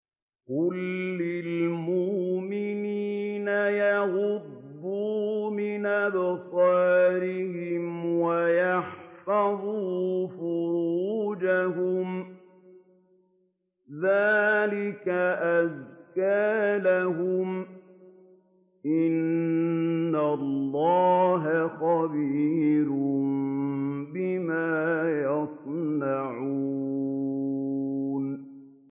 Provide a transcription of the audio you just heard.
قُل لِّلْمُؤْمِنِينَ يَغُضُّوا مِنْ أَبْصَارِهِمْ وَيَحْفَظُوا فُرُوجَهُمْ ۚ ذَٰلِكَ أَزْكَىٰ لَهُمْ ۗ إِنَّ اللَّهَ خَبِيرٌ بِمَا يَصْنَعُونَ